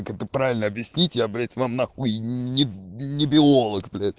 как это правильно объяснить я блять вам нахуй не биолог блять